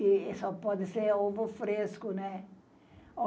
E só pode ser ovo fresco, né?